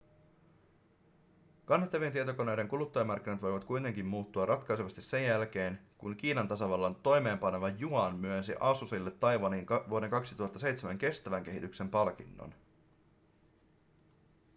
kannettavien tietokoneiden kuluttajamarkkinat voivat kuitenkin muuttua ratkaisevasti sen jälkeen kun kiinan tasavallan toimeenpaneva yuan myönsi asusille taiwanin vuoden 2007 kestävän kehityksen palkinnon